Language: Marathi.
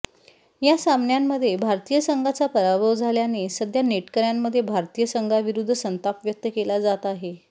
या सामन्यामध्ये भारतीय संघाचा पराभव झाल्याने सध्या नेटकऱ्यांमध्ये भारतीय संघाविरुद्ध संताप व्यक्त केला जात आहे